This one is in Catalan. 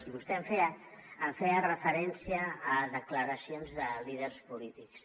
i vostè feia referència a declaracions de líders polítics